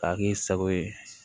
K'a kɛ i sago ye